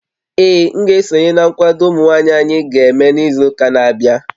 Ee, m ga-esonye na nkwado ụmụ nwaanyị anyị ga-eme n'izu ụka na-abịa